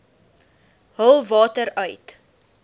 hul water uit